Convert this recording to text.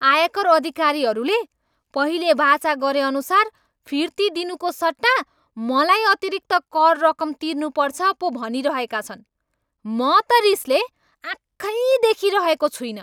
आयकर अधिकारीहरूले पहिले बाचा गरेअनुसार फिर्ती दिनुको सट्टा मलाई अतिरिक्त कर रकम तिर्नुपर्छ पो भनिरहेका छन्। म त रिसले आँखै देखिरहेको छुइनँ।